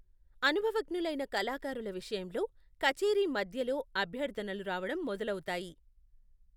అనుభవజ్ఞులైన కళాకారుల విషయంలో, కచేరీ మధ్యలో, అభ్యర్థనలు రావడం మొదలవుతాయి.